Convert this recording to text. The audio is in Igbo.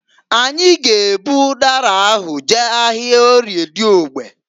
Anyị g'ebu ụdara ahụ jee ahịa Orie Diogbe.